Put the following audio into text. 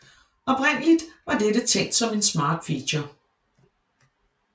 Oprindelig var dette tænkt som en smart feature